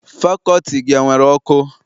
Fakọlti gị enwere ọkụ?